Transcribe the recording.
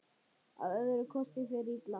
Að öðrum kosti fer illa.